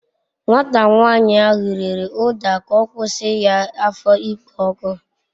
Nwata nyanyi ahu riri uda k'okwusi ya afo ikpo oku